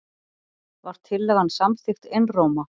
Var tillagan samþykkt einróma.